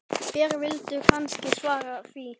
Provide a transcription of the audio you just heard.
Þér vilduð kannski svara því.